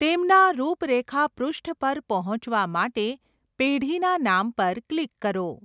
તેમના રૂપરેખા પૃષ્ઠ પર પહોંચવા માટે પેઢીના નામ પર ક્લિક કરો.